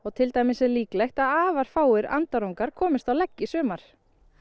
til dæmis líklegt að afar fáir komist á legg í sumar